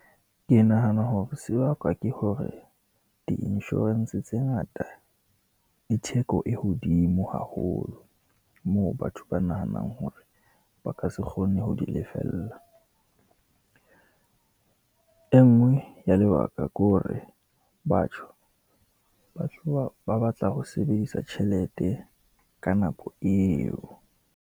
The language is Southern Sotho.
Ke nahana hore se bakwa ke hore di-insurance tse ngata e theko e hodimo haholo, moo batho ba nahanang hore ba ka se kgone ho di lefella. E nngwe ya lebaka ke hore batho, batho ba, ba batla ho sebedisa tjhelete ka nako eo.